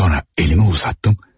Sonra əlimi uzatdım.